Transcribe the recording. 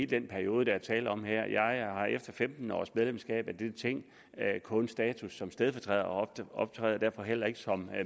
den periode der er tale om her jeg har efter femten års medlemskab af dette ting kun status som stedfortræder og optræder derfor heller ikke som